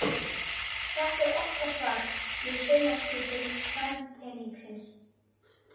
Þetta er okkar svar við saumaklúbbum kvenpeningsins.